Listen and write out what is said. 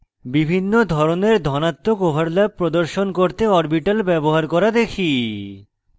বিভিন্ন ধরনের ধনাত্মক overlaps প্রদর্শন করতে orbitals ব্যবহার করা দেখি